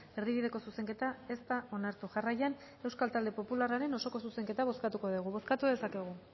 erdibideko zuzenketa ez da onartu jarraian euskal talde popularraren osoko zuzenketa bozkatuko dugu bozkatu dezakegu